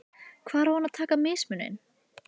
Hvar á hann að taka mismuninn?